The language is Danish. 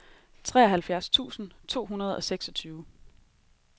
treoghalvfjerds tusind to hundrede og seksogtyve